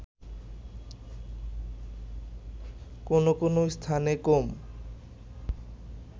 কোনো কোনো স্থানে কম